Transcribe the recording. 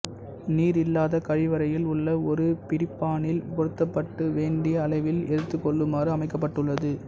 நீரில்லாத கழிவறையில் உள்ள ஓர் பிடிப்பானில் பொருத்தப்பட்டு வேண்டிய அளவில் எடுத்துக்கொள்ளுமாறு அமைக்கப்பட்டுள்ளது